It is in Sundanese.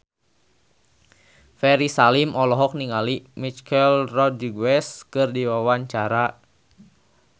Ferry Salim olohok ningali Michelle Rodriguez keur diwawancara